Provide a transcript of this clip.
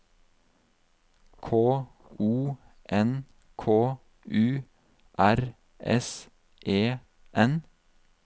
K O N K U R S E N